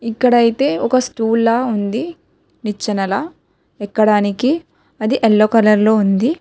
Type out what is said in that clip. ఇక్కడైతే ఒక స్టూల్ లా ఉంది నిచ్చెనల ఎక్కడానికి అది ఎల్లో కలర్ ఉంది.